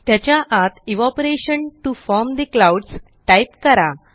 त्याच्या आतEvaporation to form the clouds type करा